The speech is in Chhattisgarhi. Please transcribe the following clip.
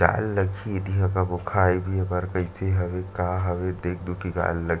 जाए ल लगही दीहा कभू खाए पिए बर कइसे हवे का हवे देख-दुखी के आए ल लग--